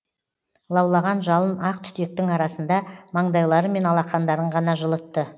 лаулаған жалын ақ түтектің арасында маңдайлары мен алақандарын ғана жылытты